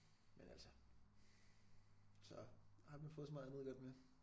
Men altså så har man fået så meget andet godt med